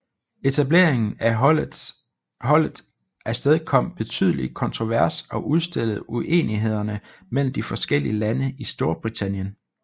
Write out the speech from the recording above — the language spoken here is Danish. Etableringen af holdet afstedkom betydelig kontrovers og udstillede uenighederne mellem de forskeliige lande i Storbritannien